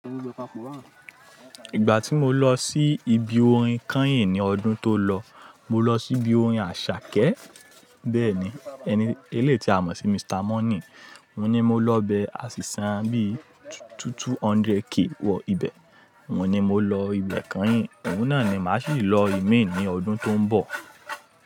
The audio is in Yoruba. Ìgbà tí mo lọ sí ibi orin kányìn ní ọdún tó lọ, mo lọ sí ibi orin Àṣàkẹ́ bẹ́ẹ̀ ni, ẹni eléyi ti a mọ̀ sí Mr. Money. Òun ni mo lọ bẹ àṣì san bíi 200k wọ ibẹ̀. Òun ni mo lọ ibẹ̀ kányìn, òun náà ni màá sì lọ ìmi ní ọdún tó ń bọ̀.